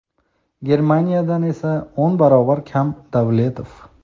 Germaniyadan esa o‘n barobar kam – Davletov.